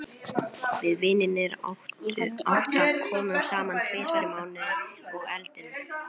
Við vinirnir átta komum saman tvisvar í mánuði og eldum.